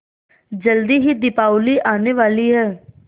जल्दी ही दीपावली आने वाली है